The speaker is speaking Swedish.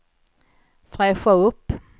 fräscha upp